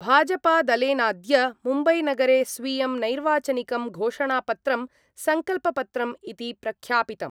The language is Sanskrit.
भाजपादलेनाद्य मुम्बैनगरे स्वीयं नैर्वाचनिकं घोषणापत्रं सङ्कल्पपत्रं इति प्रख्यापितम्।